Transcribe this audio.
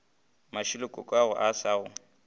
mashilo kokoago a sa go